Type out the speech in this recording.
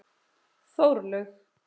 Þórlaug